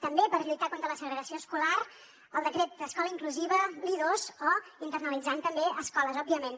també per lluitar contra la segregació escolar amb el decret d’escola inclusiva l’i2 o internalitzant també escoles òbviament